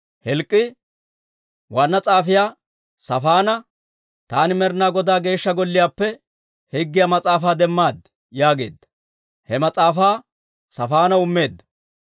Hilk'k'ii waanna s'aafiyaa Saafaana, «Taani Med'inaa Godaa Geeshsha Golliyaappe Higgiyaa Mas'aafaa demmad» yaageedda. He mas'aafaa Saafaanaw immeedda.